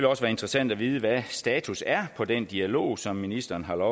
også være interessant at vide hvad status er på den dialog som ministeren har